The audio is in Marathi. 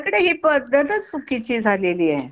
आपल्याकडे ही पद्धतचं चुकीची झालेली हाय.